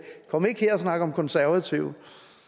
om en ikke her og snak om konservative